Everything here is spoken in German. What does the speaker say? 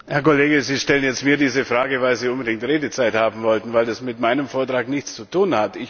Herr Kollege, Sie stellen jetzt mir diese Frage, weil Sie unbedingt Redezeit haben wollten, denn das hat mit meinem Vortrag nichts zu tun.